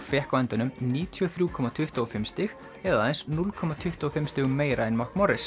fékk á endanum níutíu og þrjú komma tuttugu og fimm stig eða aðeins núll komma tuttugu og fimm stigum meira en